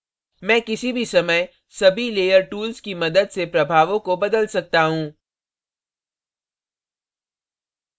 मैं किसी भी समय सभी layer tools की मदद से प्रभावों को बदल सकता हूँ